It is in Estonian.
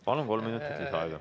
Palun, kolm minutit lisaaega!